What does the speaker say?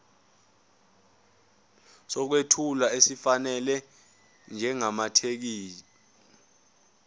sokwethula esifanele njengamathekisthi